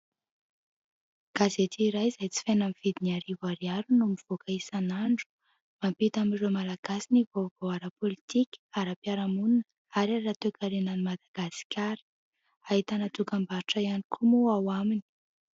Gazety iray izay jifaina amin'ny vidiny arivo ariary no mivoaka isan'andro, mampita amin'ireo malagasy ny vaovao ara-pôlitika, ara-piarahamonina ary ara-toe-karenan'i Madagasikara, ahitana dokam-barotra ihany koa moa ao aminy.